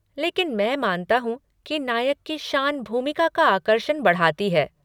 लेकिन मैं मानता हूँ कि नायक की शान भूमिका का आकर्षण बढ़ाती है।